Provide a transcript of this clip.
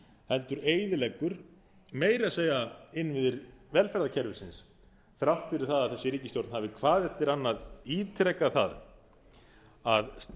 heldur eyðileggur meira að segja innviðir velferðarkerfisins þrátt fyrir það að þessi ríkisstjórn hafi hvað eftir annað ítrekað það að